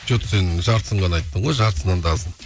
что то сен жартысын ғана айттың ғой жартысынан да азын